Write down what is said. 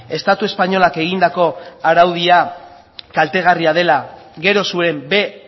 estatu espainolak egindako araudia kaltegarria dela gero zuen b